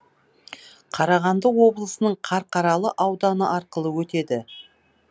қарағанды облысының қарқаралы ауданы арқылы өтеді